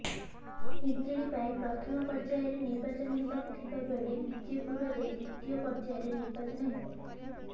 ହିଞ୍ଜିଳି ପାଇଁ ପ୍ରଥମ ପର୍ଯ୍ୟାୟରେ ନିର୍ବାଚନ ହେବାକୁ ଥିବା ବେଳେ ବିଜେପୁରରେ ଦ୍ୱିତୀୟ ପର୍ଯ୍ୟାୟରେ ନିର୍ବାଚନ ହେବ